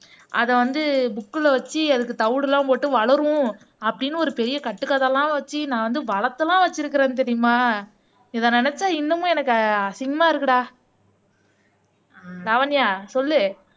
அதை அதை வந்து புக்ல வச்சு அதுக்கு தவிடுலாம் போட்டு வளரும் அப்படின்னு ஒரு பெரிய கட்டுக்கதையெல்லாம் வச்சு நான் வந்து வளத்தெல்லாம் வச்சிருக்கிறேன் தெரியுமா இதை நினைச்சா இன்னமும் எனக்கு அசிங்கமா இருக்குடா லாவண்யா சொல்லு